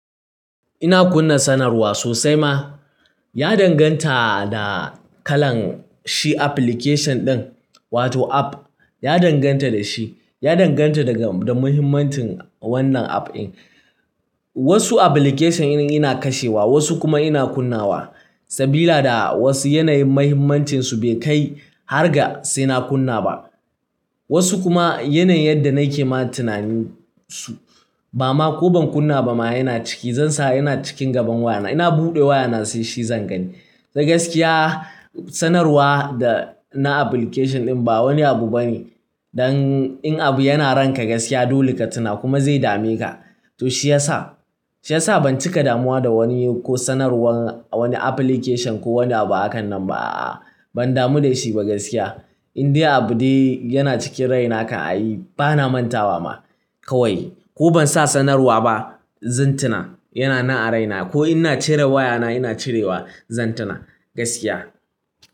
Ina kunna sanarwa sosai ma. Ya danganta da kalan shi application ɗin, wato app. Ya danganta da shi. Ya danganta daga da muhimmancin wannan app ɗin. Wasu application ina kashewa, wasu kuma ina kunnawa. Sabila da wasu yanayin muhimmancinsu bai kai har ga sai na kunna ba. Wasu kuma yanayin yadda na ke ma tunanin su, ba ma ko ban kunna ba ma yana ciki. Zan sa yana cikin gaban wayana. Ina buɗe wayana sai shi zan gani. To gaskiya, sanarwa da na application ɗin ba wani abu bane. Dan in abu yana ranka gaskiya dole ka tuna kuma zai dame ka. To shi yasa, shi yasa ban cika damuwa da wani ko sanarwar wani application ko wani abu a kan nan ba. Ban damu da shi ba gaskiya. In dai abu dai yana cikin raina kan ai, bana mantawa ma, kawai. Ko ban sa sanarwa ba, zan tuna. Yana na a raina. Ko ina cire wayana ina cirewa, zan tuna gaskiya.